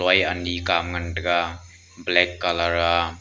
loi ani ka ngan tai ga black colour a.